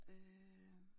Øh